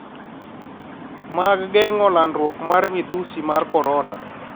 mag geng'o landruok mar midhusi mar korona.